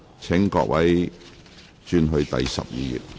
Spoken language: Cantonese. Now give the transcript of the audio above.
請各位轉往講稿第12頁。